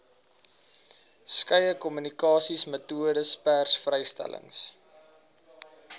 skeie kommunikasiemetodes persvrystellings